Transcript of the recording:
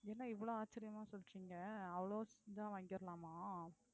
என்ன இவ்வளவு ஆச்சரியமா சொல்றீங்க அவ்வளவு இதா~ வாங்கிடலாமா